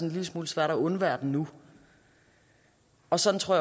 en lille smule svært at undvære den nu og sådan tror